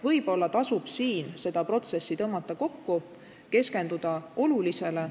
Võib-olla tasub seda protsessi kokku tõmmata, keskenduda olulisele.